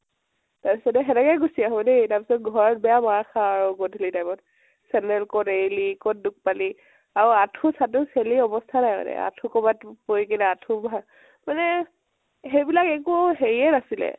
সেনেকেই গুছি আহো দেই তাৰপিছত ঘৰত বেয়া মাৰ খাওঁ, গধুলী time ত । চেন্দেল কʼত এৰিলি কত দুখ পালি আৰু আঠু চাঠু চেলি অবস্তা নাই মানে । আঠু কৰবাত পৰি কিনে আঠু ভা মানে একো হেৰি য়ে নাছিলে